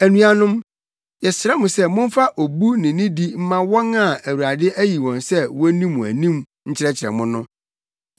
Anuanom, yɛsrɛ mo sɛ momfa obu ne nidi mma wɔn a Awurade ayi wɔn sɛ wonni mo anim nkyerɛkyerɛ mo no.